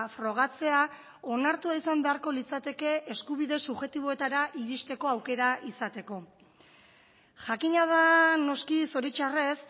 frogatzea onartu izan beharko litzateke eskubide subjektiboetara iristeko aukera izateko jakina da noski zoritzarrez